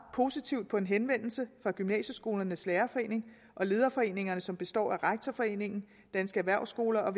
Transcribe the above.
positivt på en henvendelse fra gymnasieskolernes lærerforening og lederforeningerne som består af rektorforeningen danske erhvervsskoler og